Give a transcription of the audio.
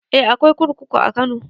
Eh akwai kurkuku a kano